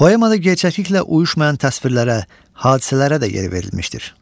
Poemada gerçəkliklə uyuşmayan təsvirlərə, hadisələrə də yer verilmişdir.